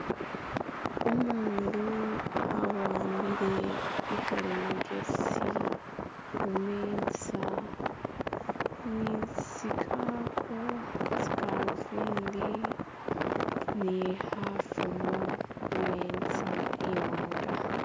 Umundu awambile ikhalimagezi khumeza ni tsi'galuvindi, ni khafumo khumeza i'wanga.